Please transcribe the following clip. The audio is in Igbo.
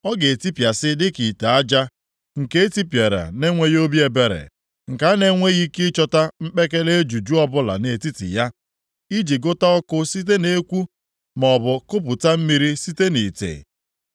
Ọ ga-etipịasị dịka ite aja, nke etipịara na-enweghị obi ebere, nke a na-enweghị ike ịchọta mpekele ejuju ọbụla nʼetiti ya, iji gụta ọkụ site na-ekwu, maọbụ kupụta mmiri site nʼite.”